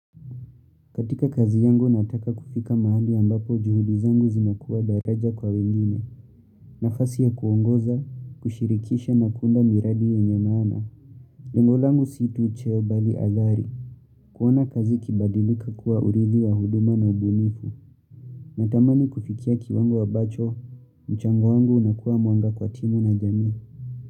Katika kazi yangu nataka kufika mahali ambapo juhudi zangu zinakuwa daraja kwa wengine, nafasi ya kuongoza, kushirikisha na kuunda miradi yenye maana. Lengo langu si tu cheo bali athari. Kuona kazi ikibadilika kuwa urithi wa huduma na ubunifu. Natamani kufikia kiwango abacho, mchango wangu unakuwa mwanga kwa timu na jamii.